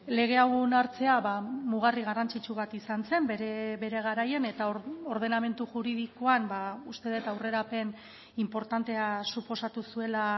lege hau onartzea mugarri garrantzitsu bat izan zen bere garaian eta ordenamendu juridikoan uste dut aurrerapen inportantea suposatu zuela